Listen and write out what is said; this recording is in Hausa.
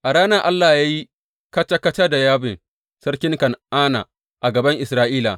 A ranar Allah ya yi kaca kaca da Yabin, sarkin Kan’ana a gaban Isra’ila.